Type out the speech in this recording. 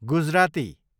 Gujarati